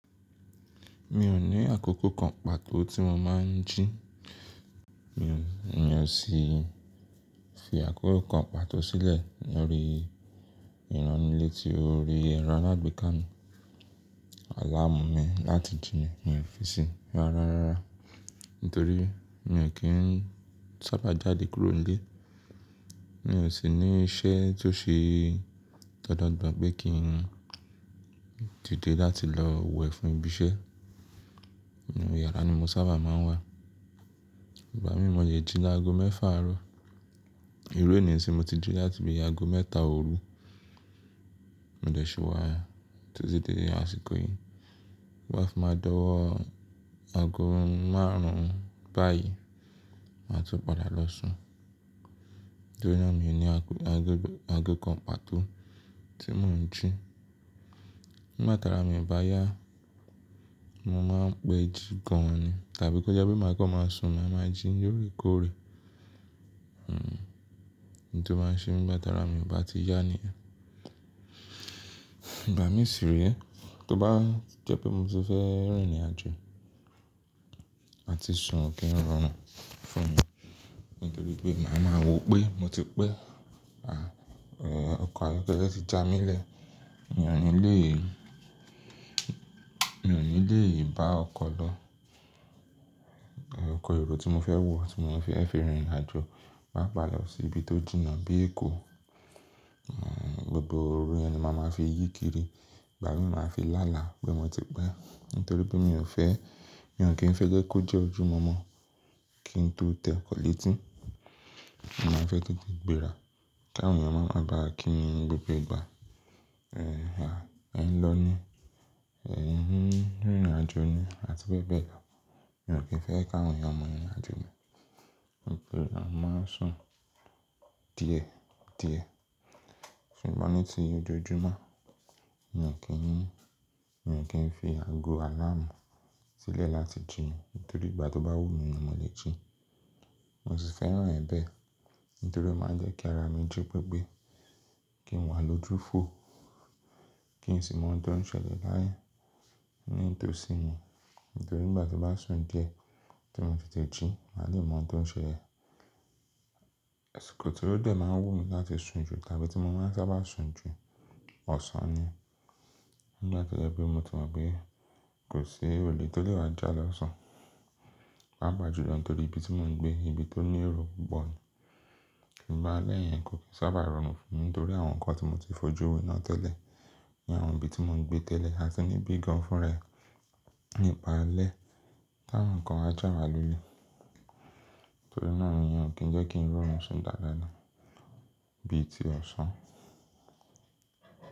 Mi ò ní àkókò kan pàtó tí mo máa ń jí. Mi ò sì fi àkókò kan pàtó sílẹ̀ lórí ìránnilétí orí ẹ̀rọ alágbèéká mi. Àlá amú mi láti jí ni mi ò fi sí i rárá. Nítorí mi ò kí ń sábà jáde kúrò nílé. Mi ò sì ní iṣẹ́ tó ṣe tọdọ́ gbà pé kí n dìde láti lọ wẹ̀ fún ibi iṣẹ́. Inú yàrá ni mo sábà máa ń wà. Ìbá mi mọ̀ye jí lágo mẹ́fà àárọ̀. Irú èní sì mo ti jí láti bí i ago mẹ́ta òru. Mo lè ṣe wá títí dé àsìkò yìí. Ba ti máa dọ́wọ́ ago márùn-ún báyìí, màá tún padà lọ sùn. Nítorí náà mi ò ní ago kan pàtó tí mò ń jí. Nígbà tara mi bá yá, mo máa ń pẹ́ jí gan ni. Tàbí bó jẹ́ pé màá kọ́ máa sùn, màá máa jí yórí kórè. Hmm, nítorí ó máa ń ṣe bí bátara mi kò bá ti yá ni ẹ́. Ìbá mi ṣì rí ẹ́, tó bá jẹ́ pé mo ti fẹ́ rìnrìn àjò àti sùn kí ń rọrùn fún mi. Nítorí pé màá máa wò pé mo ti pẹ́. À, ọkọ̀ ayọ́kẹ́lẹ́ ti já mi lẹ́ẹ̀. Èèyàn nílé yìí èèyàn nílé yìí bá ọkọ̀ lọ. Ẹ̀, ọkọ̀ èrò tí mo fẹ́ wọ̀, tí mo fẹ́ rìn ìrìnàjò, bá pà lọ sí ibi tó jìnnà bí Èkó, hmm gbogbo orí ẹni máa ma fi yíkiri. Ìbá mi máa fi lá àlá pé mo ti pẹ́. Nítorí pé mi ò fẹ́, mi ò kí ń fẹ́ gẹ́ kó jẹ́ ojúu mọ̀ọ́mọ̀ kí n tó tẹ́ ọkọ̀ létí. Mo máa ń fẹ́ kí i di ìgbéra kí àwọn èèyàn máa ma bá kí mi ní gbogbo ìgbà. "Ẹ̀ẹ́ ha, ẹ̀ ń lọ ní ẹ̀, ń rìn ìrìnàjò ni" àti bẹ́ẹ̀ bẹ́ẹ̀ lọ. Mi ò kí ń fẹ́ kí àwọn èèyàn mọ̀ ìrìnàjò mi. Níbi tí màá sùn díẹ̀ díẹ̀. Ṣùgbọ́n ní ti ojoojúmọ́, mi ò kí ń, mi ò kí ń fi ago aláàánú sílẹ̀ láti jí. Nítorí ìgbà tó bá wù mí ni mo lè jí. Mo sì fẹ́ràn ẹ̀ bẹ́ẹ̀. Nítorí ó máa ń jẹ́ kí ara mi jí gbigbé. Kí n wà lójúfo. Kí n sì mọ̀ ohun tó ń ṣẹlẹ̀ láyé ní ìtòsí mi. Nítorí bí ìgbà tó bá sùn díẹ̀ tí mo ti tẹ̀ jí, màá lè mọ̀ ohun tó ń ṣẹ̀ lẹ̀. Àsìkò tò dẹ̀ máa ń wù mí láti sùn jù tàbí tí mo máa ń sábà sùn jù, ọ̀sán ni. Ngbà tó jẹ pé mo ti mọ̀ pé kò sí èrò lẹ́tí lè wá jà lọ́sàn-án. Bá pà jù lọ nítorí ibi tí mò ń gbé, ibi tó ní èrò bọ̀n. Ìbá a lẹ́ẹ̀yìn kò kí ń sábà rọrùn fún mi. Nítorí àwọn nǹkan tí mo ti fojú we náà tẹ́lẹ̀ ní àwọn ibi tí mò ń gbé tẹ́lẹ̀. A sì ní bí gan fún rẹ̀ nípa alẹ́. Tán àwọn nǹkan wá jà wálolẹ́. Nítorí náà mi ò kí ń jẹ́ kí ń rọrùn sí ìdálẹ́ná bíi ti ọ̀sán.